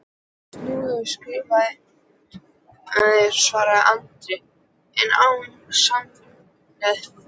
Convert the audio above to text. Snúðu skafti, svaraði Andri, en án sannfæringar.